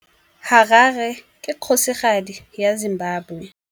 Harare ke kgosigadi ya Zimbabwe.